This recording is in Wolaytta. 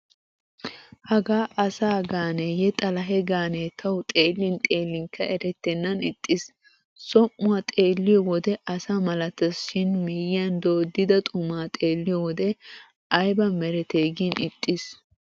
Hagaa asa gaaneeyye xalahe gaane tawu xeellin xeellinkka erettennan ixxiis. Som"uwa xeelliyo wode asa malateesi shin miyyiyan dooddida xumaa xeelliyo wode ayba merete gin ixxiis.